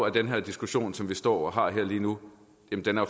at den her diskussion som man står og har her lige nu